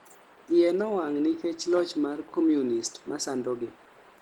iye nowang nikech loch mar communist masandogi